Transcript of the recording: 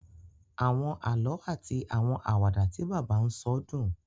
Àwọn àlọ ati àwọn Àwàdà tí bàbá n sọ dùn